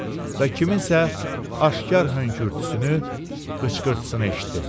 və kimsə aşkar hönkürtüsünü, xıxıltısını eşitdim.